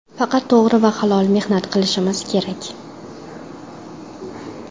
Faqat to‘g‘ri va halol mehnat qilishimiz kerak.